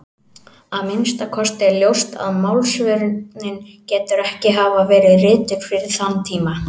Að minnsta kosti er ljóst að Málsvörnin getur ekki hafa verið rituð fyrir þann tíma.